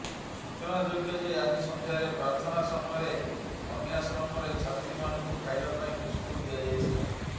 ସୂଚନାଯୋଗ୍ୟ ଯେ ଆଜି ସନ୍ଧ୍ୟାରେ ପ୍ରାର୍ଥନା ସମୟରେ କନ୍ୟାଶ୍ରମରେ ଛାତ୍ରୀ ମାନଙ୍କୁ ଖାଇବା ପାଇଁ ବିସ୍କୁଟ ଦିଆଯାଇଥିଲା